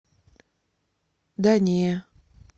да не